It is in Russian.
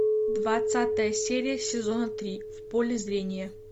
двадцатая серия сезона три в поле зрения